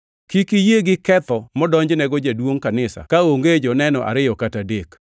Kik iyie gi ketho modonjnego jaduongʼ kanisa kaonge joneno ariyo kata adek.